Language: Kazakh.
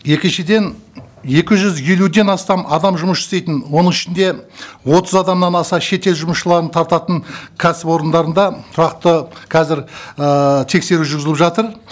екіншіден екі жүз елуден астам адам жұмыс істейтін оның ішінде отыз адамнан аса шетел жұмысшыларын тартатын кәсіпорындарында тұрақты қазір ііі тексеру жүргізіліп жатыр